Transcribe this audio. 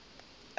ka gore ba be ba